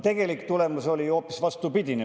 Tegelik tulemus oli hoopis vastupidine.